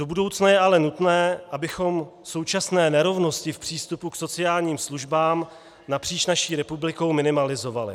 Do budoucna je ale nutné, abychom současné nerovnosti v přístupu k sociálním službám napříč naší republikou minimalizovali.